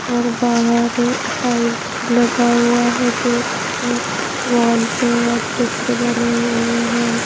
और बाहर टाइल्स लगा हुआ है गेट में वॉल पे और चित्र बने हुए हैं।